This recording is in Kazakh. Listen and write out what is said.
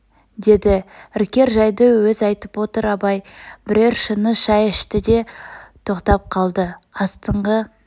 деді іркер жайды өз айтып отыр абай бірер шыны шай ішті де тоқтап қалды астыңғы